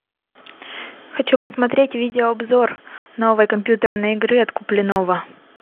хочу посмотреть видео обзор новой компьютерной игры от куплинова